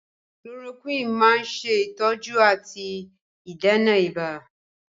Chloroquine máa ń ṣe ìtọ́jú àti ìdènà ibà